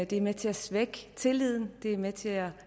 det er med til at svække tilliden det er med til at